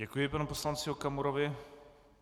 Děkuji panu poslanci Okamurovi.